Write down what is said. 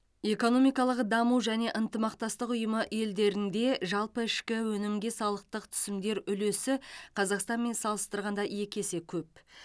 экономикалық даму және ынтымақтастық ұйымы елдерінде жалпы ішкі өнімге салықтық түсімдер үлесі қазақстанмен салыстырғанда екі есе көп